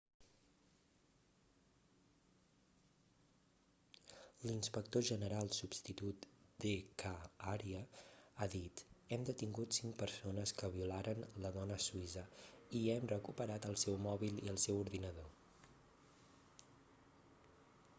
l'inspector general substitut d k arya ha dit hem detingut cinc persones que violaren la dona suïssa i hem recuperat el seu mòbil i el seu ordinador